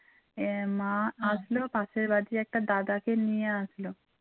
পাশের বাড়ীর একটা দাদাকে নিয়ে আসলো